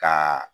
Ka